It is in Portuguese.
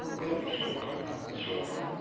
Não teve jeito mesmo, de jeito nenhum.